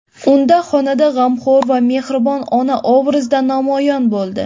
Unda xonanda g‘amxo‘r va mehribon ona obrazida namoyon bo‘ldi.